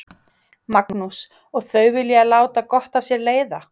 Magnús: Og þau vilja láta gott af sér leiða?